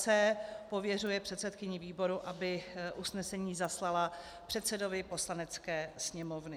c) pověřuje předsedkyni výboru, aby usnesení zaslala předsedovi Poslanecké sněmovny.